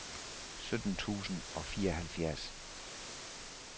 sytten tusind og fireoghalvfjerds